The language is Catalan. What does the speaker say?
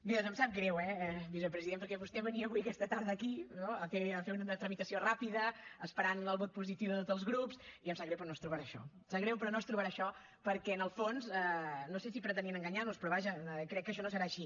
bé doncs em sap greu eh vicepresident perquè vostè venia avui aquesta tarda aquí no a fer una tramitació rapida esperant el vot positiu de tots els grups i em sap greu però no es trobarà això em sap greu però no es trobarà això perquè en el fons no sé si pretenien enganyar nos però vaja crec que això no serà així